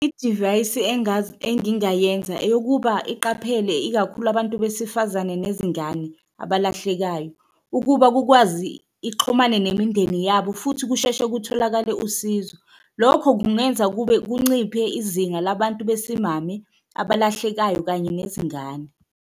Idivayisi engingayenza eyokuba iqaphele ikakhulu abantu besifazane nezingane abalahlekayo, ukuba kukwazi ixhumane nemindeni yabo futhi kusheshe kutholakale usizo. Lokho kungenza kube kunciphe izinga labantu besimame abahlekayo kanye nezingane.